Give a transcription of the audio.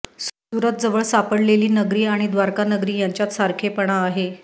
सुरतजवळ सापडलेली नगरी आणि द्वारका नगरी यांच्यात सारखेपणा आहे